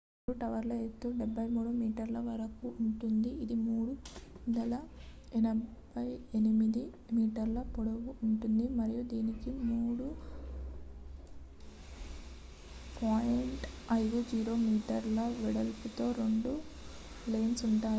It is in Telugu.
రెండు టవర్ల ఎత్తు 83 మీటర్ల వరకు ఉంటుంది ఇది 378 మీటర్ల పొడవు ఉంటుంది మరియు దీనికి 3.50 మీటర్ల వెడల్పు తో రెండు లెన్స్ ఉంటాయి